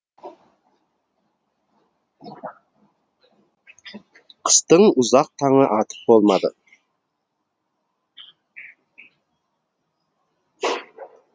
қыстың ұзақ таңы атып болмады